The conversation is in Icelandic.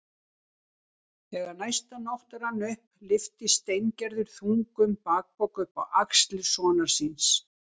Þegar næsta nótt rann upp lyfti Steingerður þungum bakpoka upp á axlir sonar síns.